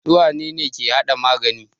Su wane ne ke hada magani?